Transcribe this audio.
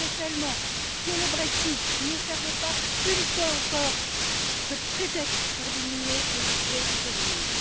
J'aimerais tellement que le Brexit ne serve pas, une fois encore, de prétexte pour diminuer le budget de l'Union.